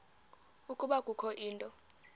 ukuba kukho into